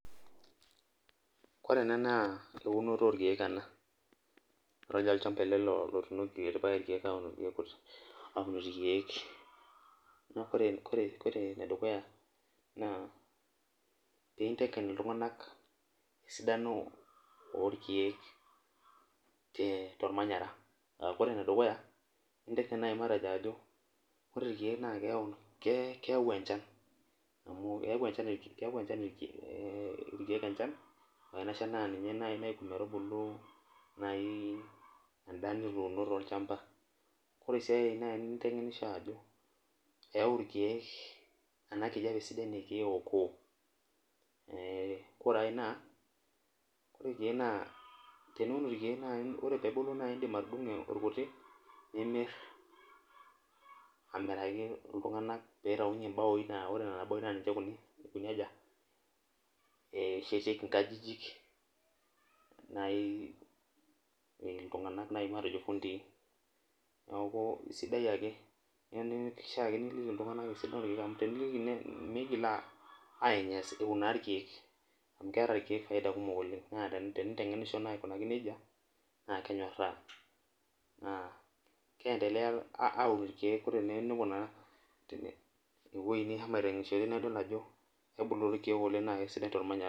Ore ena na eunoto orkiek ena olchamba ele otuunoki irkiek na ore enedukuya na pintengen ltunganak esiai orkiek tormanyara ore irkiek nakeyau emchanbna ore ema shanbna ninye naitubulu endaa tolchamba ore si naintemgenisho ako eyau irkiek enabkujape sidai na indim atudumu irkutik nimir amiraki ltunganak pitaunye mbaoi naninche eshetieki nkajijik matejo fundii migilbainyalaa irkiek amu na kenyoraa naabkiemdelea aun irkiek teoi nishomo aitengenisho na kebulu irkiek na sidai tormanyara